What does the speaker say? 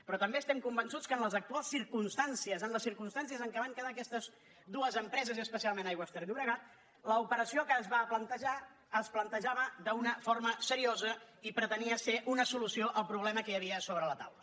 però també estem convençuts que en les actuals circumstàncies en les circumstàncies en què van quedar aquestes dues empreses i especialment aigües ter llobregat l’operació que es va plantejar es plantejava d’una forma seriosa i pretenia ser una solució al problema que hi havia sobre la taula